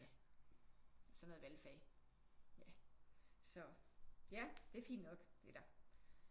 Ja og så er der valgfag ja så ja det er fint nok eller